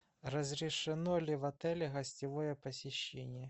разрешено ли в отеле гостевое посещение